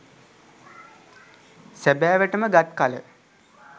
සැබෑවට ම ගත් කළ